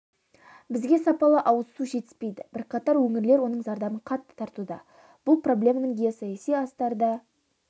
бізге сапалы ауыз су жетіспейді бірқатар өңірлер оның зардабын қатты тартуда бұл проблеманың геосаяси астары да